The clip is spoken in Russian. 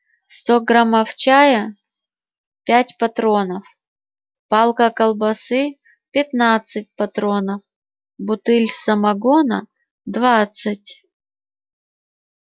сто граммов чая пять патронов палка колбасы пятнадцать патронов бутыль самогона двадцать